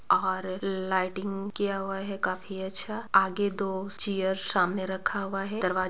और ल-लाइटिंग किया हुआ है काफी अच्छा आगे दो चेयर सामने रखा हुआ है दरवा--